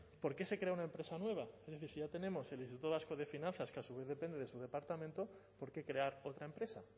por qué se crea una empresa nueva es decir si ya tenemos el instituto vasco de finanzas que a su vez depende de su departamento por qué crear otra empresa